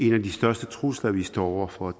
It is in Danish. en af de største trusler vi står over for